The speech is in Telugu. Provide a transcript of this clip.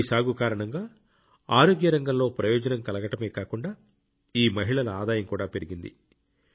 ఈ సాగు కారణంగా ఆరోగ్య రంగంలో ప్రయోజనం కలగడమే కాకుండా ఈ మహిళల ఆదాయం కూడా పెరిగింది